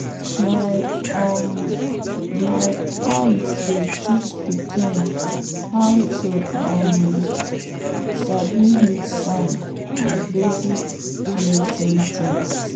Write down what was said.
my um aunt dey teach pikin how to um sabi heat sign and basic mating things.